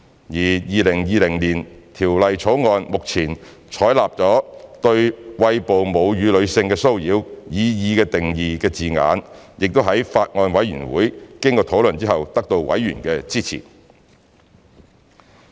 而《條例草案》目前採納"對餵哺母乳的女性的騷擾"擬議定義的字眼亦在法案委員會經討論後得到委員的支持。